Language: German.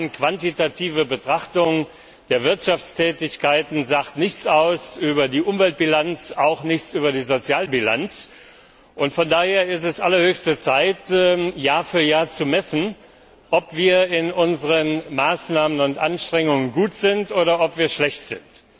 Die rein quantitative Betrachtung der Wirtschaftstätigkeiten sagt nichts über die Umweltbilanz und auch nichts über die Sozialbilanz aus, und von daher ist es allerhöchste Zeit, Jahr für Jahr zu messen, ob wir bei unseren Maßnahmen und Anstrengungen gut oder schlecht sind.